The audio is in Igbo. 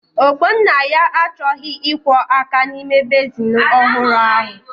Ogbonnaya achọghị ịkwọ áká n'ime bezin ọhụrụ ahụ.